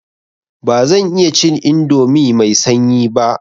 Ba zan iya cin indomi mai sanyi ba.